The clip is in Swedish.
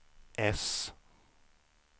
äss